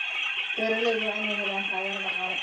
Beeralayda waa inay helaan taageero dhaqaale.